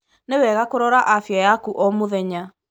Nĩwega kũrora afya yaku o mũthenya.